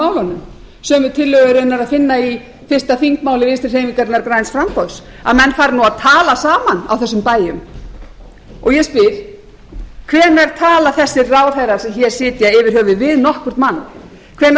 málunum sömu tillögu er raunar að finna í fyrsta þingmáli vinstri hreyfingarinnar græns framboðs að menn fari nú að tala saman á þessum bæjum ég spyr hvenær tala þessir ráðherrar sem hér sitja yfir höfuð við nokkurn mann hvenær